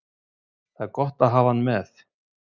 Það er gott að hafa hann með.